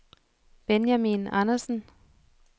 Benjamin Andersen